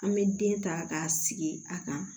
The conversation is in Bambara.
An bɛ den ta k'a sigi a kan